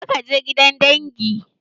Kar ka je gidan dangi!